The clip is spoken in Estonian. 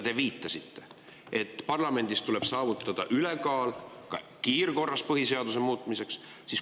Te viitasite, et parlamendis tuleb saavutada ülekaal kiirkorras põhiseaduse muutmiseks.